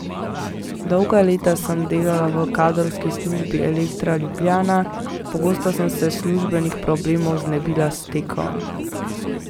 Dolga leta sem delala v kadrovski službi Elektra Ljubljana, pogosto sem se službenih problemov znebila s tekom.